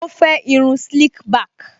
Ó fẹ́ irun slick back